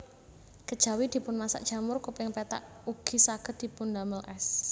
Kejawi dipunmasak jamur kuping pethak ugi saged dipundamel ès